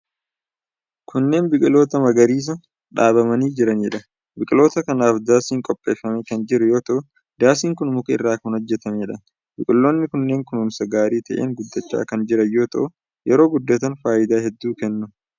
Kunneen biqiloota magariisa, dhaabamanii jiranii dha. Biqiloota kanaaf daasiin qopheeffamee kan jiru yoo ta'u, daasiin kun muka irraa kan hojjattamee dha. Biqiloonni kunneen kunuunsa gaarii ta'een guddachaa kan jiran yoo ta'u, yeroo guddatan faayidaa hedduu kennu.